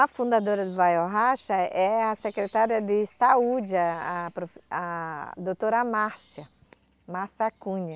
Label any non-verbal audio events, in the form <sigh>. A fundadora do ou vai ou racha é a secretária de saúde, a a <unintelligible> a doutora Márcia Márcia Cunha.